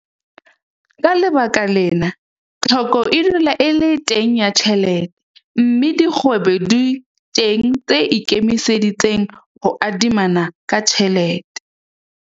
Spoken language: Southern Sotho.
Ka baka lena, tlhoko e dula e le teng ya tjhelete, mme dikgwebo di teng tse ikemiseditseng ho adimana ka tjhelete.